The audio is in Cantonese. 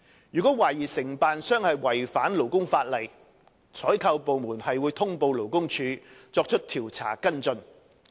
如懷疑承辦商違反勞工法例，採購部門會通報勞工處以作出調查跟進。